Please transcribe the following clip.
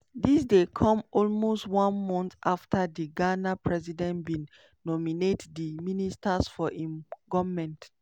dis dey come almost one month afta di ghana president bin nominate di ministers for im goment.